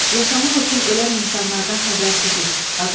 Yaşamaq üçün ölən insanlardan xəbərsizik.